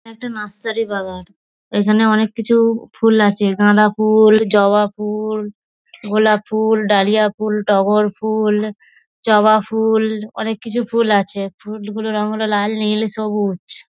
একটা নার্সারি বাগান। এখানে অনেককিছু ফুল আছে। গাঁদা ফুল জবা ফু্‌ল গোলাপ ফুল ডালিয়া ফুল টগর ফু্‌ল জবা ফুল অনেককিছু ফুল আছে। ফুলগুলোর রং হল লাল নীল সবুজ।